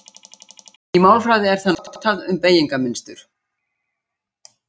Í málfræði er það notað um beygingarmynstur.